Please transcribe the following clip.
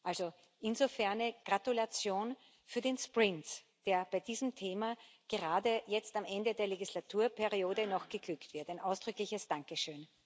Also, insofern Gratulation für den Sprint, der bei diesem Thema gerade jetzt am Ende der Legislaturperiode noch geglückt ist ein ausdrückliches Dankeschön.